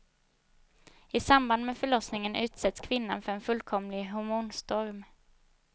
I samband med förlossningen utsätts kvinnan för en fullkomlig hormonstorm.